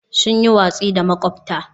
Sun yi watsi da makwabta.